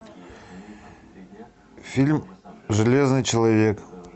фильм железный человек